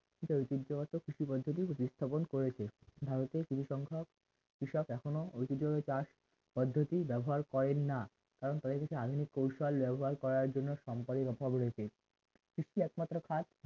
দেশের ঐতিহ্যবাহী কৃষি পদ্ধতি প্রতিস্থাপন করেছে ভারতের কিছু সংখ্যক কৃষক এখনো ঐতিহ্যভাবে চাষ পদ্ধতি ব্যবহার করেন না এবং পদ্ধতির আধুনিক কৌশল ব্যবহার করার জন্য সম্পদের কথা বলেছে কৃষি একমাত্র খাত